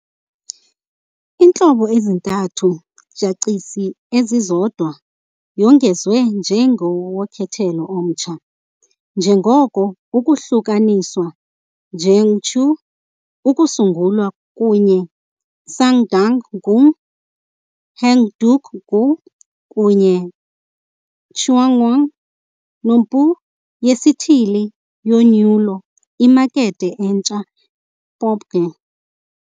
Iintlobo ezintathu jachisi ezizodwa yongezwe njenge wokhetho omtsha, njengoko ukuhlukaniswa Cheongju kusungulwa kunye Sangdang-gu Heungdeok-gu kunye Cheongwon-nompu yesithili yonyulo imakethe entsha ppopge.